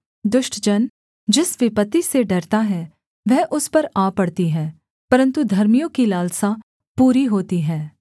दुष्ट जन जिस विपत्ति से डरता है वह उस पर आ पड़ती है परन्तु धर्मियों की लालसा पूरी होती है